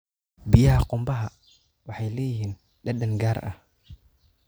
Biyaha qumbaha waxay leeyihiin dhadhan gaar ah.